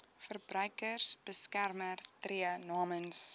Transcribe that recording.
verbruikersbeskermer tree namens